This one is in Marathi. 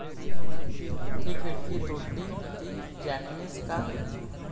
ती खिडकी तोडली ती जॅकनेच का?